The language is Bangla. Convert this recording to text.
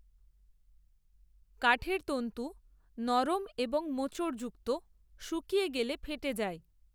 কাঠের তন্ত্ত নরম এবং মোচড়যুক্ত, শুকিয়ে গেলে ফেটে যায়